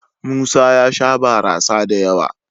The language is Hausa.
Musa ya sha barasa da yawa.